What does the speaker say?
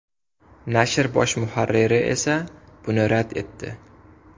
Nashr bosh muharriri esa buni rad etdi.